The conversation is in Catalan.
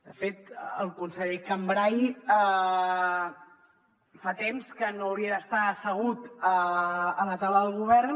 de fet el conseller cambray fa temps que no hauria d’estar assegut a la taula del govern